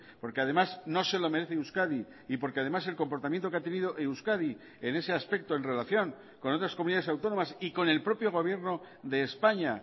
porque además no se lo merece euskadi y porque además el comportamiento que ha tenido euskadi en ese aspecto en relación con otras comunidades autónomas y con el propio gobierno de españa